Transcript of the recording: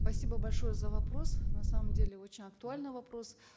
спасибо большое за вопрос на самом деле очень актуальный вопрос